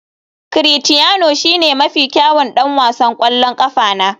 Critiano shine mafi kyawun ɗan wasan ƙwallon ƙafa na.